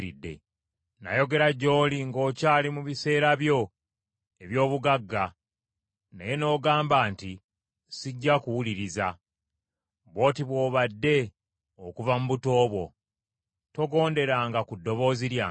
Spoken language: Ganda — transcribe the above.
Nayogera gy’oli ng’okyali mu biseera byo eby’obugagga naye n’ogamba nti, ‘Sijja kuwuliriza!’ Bw’oti bw’obadde okuva mu buto bwo, togonderanga ku ddoboozi lyange.